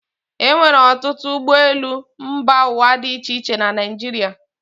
E nwere ọtụtụ ụgbọelu mba ụwa dị iche iche na Naịjirịa.